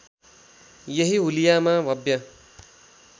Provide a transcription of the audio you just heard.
यही हुलियामा भव्य